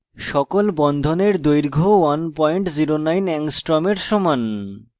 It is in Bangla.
সকল বন্ধনের দৈর্ঘ্য 109 angstrom এর সমান